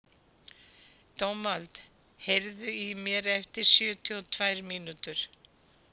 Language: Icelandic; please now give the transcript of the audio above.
Dómald, heyrðu í mér eftir sjötíu og tvær mínútur.